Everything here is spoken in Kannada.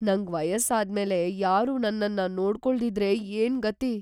ನಂಗ್ ವಯಸ್ಸಾದ್ಮೇಲೆ ಯಾರೂ ನನ್ನನ್ನ ನೋಡ್ಕೊಳ್ದಿದ್ರೆ ಏನ್‌ ಗತಿ?